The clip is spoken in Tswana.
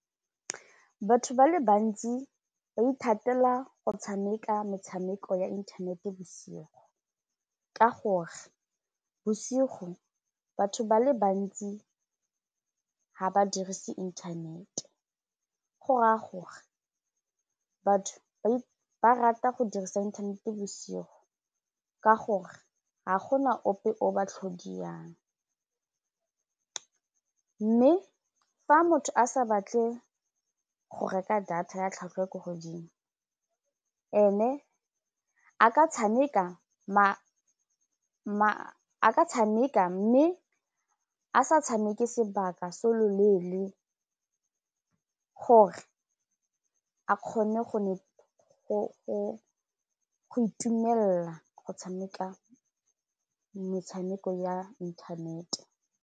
Batho ba le bantsi ba ithatela go tshameka metshameko ya inthanete bosigo ka gore bosigo batho ba le bantsi ga ba dirise internet go raya gore batho ba rata go dirisa inthanete bosigo ka gore ga gona ope o ba tlhodiyang mme fa motho a sa batle go reka data ya tlhwatlhwa e ko godimo ene a tshameka mme a sa tshameke sebaka se loleele gore a kgone go ne go itumelela go tshameka metshameko ya internet.